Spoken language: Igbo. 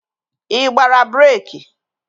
Ị gbara breeki?